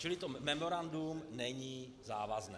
Čili to memorandum není závazné.